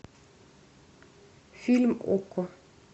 фильм окко